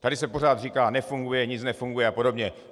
Tady se pořád říká nefunguje, nic nefunguje a podobně.